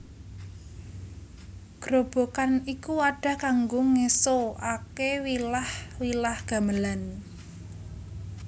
Grobogan iku wadah kanggo ngeso ake wilah wilah gamelan